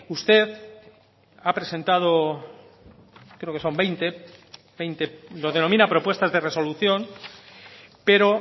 usted ha presentado creo que son veinte lo denomina propuestas de resolución pero